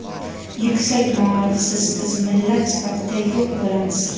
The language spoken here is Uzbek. Yuksak maorifsiz biz millat sifatida yo‘q bo‘lamiz!.